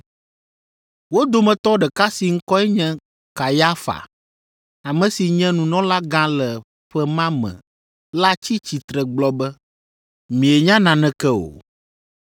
Wo dometɔ ɖeka si ŋkɔe nye Kayafa, ame si nye nunɔlagã le ƒe ma me la tsi tsitre gblɔ be, “Mienya naneke o.